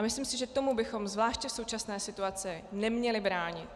A myslím si, že tomu bychom zvláště v současné situaci neměli bránit.